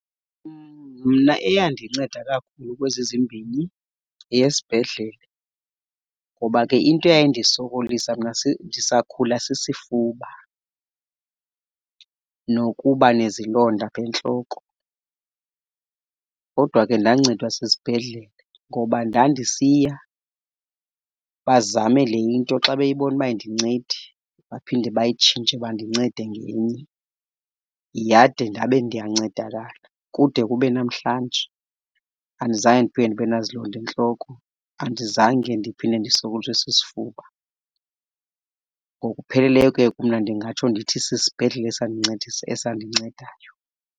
Mna eyandinceda kakhulu kwezi zimbini yeyesibhedlele. Ngoba ke into eyayindisokolisa mna ndisakhula sisifuba nokuba nezilonda aphentloko. Kodwa ke ndancedwa sisibhedlele ngoba ndandisiya bazame le into. Xa beyibona uba ayindincedi, baphinde bayitshintshe bandincede ngenye yade ndabe ndiyancedakala kude kube namhlanje. Andizange ndiphinde ndibe nazilonda entloko, andizange ndiphinde ndisokoliswe sisifuba. Ngokupheleleyo, ke mna ndingatsho ndithi sisibhedlele esandincedayo.